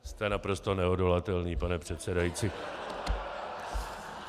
Jste naprosto neodolatelný, pane předsedající.